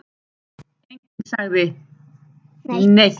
Enginn sagði neitt.